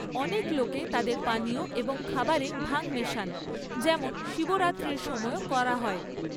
অনেক লোকে তাদের পানীয় এবং খাবারে ভাং মেশান, যেমন শিবরাত্রির সময়ও করা হয়।